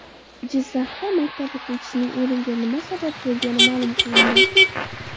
Jizzaxda maktab o‘quvchisining o‘limiga nima sabab bo‘lgani ma’lum qilindi .